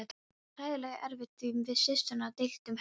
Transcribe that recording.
Það var hræðilega erfitt því við systurnar deildum herbergi.